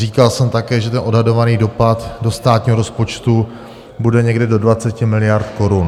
Říkal jsem také, že ten odhadovaný dopad do státního rozpočtu bude někde do 20 miliard korun.